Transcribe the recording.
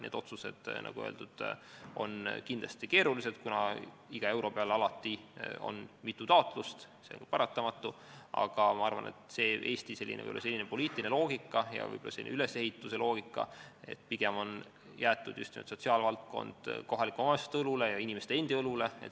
Need otsused, nagu öeldud, on kindlasti keerulised, kuna iga euro peale on alati mitu taotlust, see on paratamatu, aga ma arvan, et Eesti poliitiline loogika ja võib-olla n-ö riigi ülesehituse loogika on selline, et pigem on jäetud sotsiaalvaldkond kohalike omavalitsuste ja inimeste endi õlule.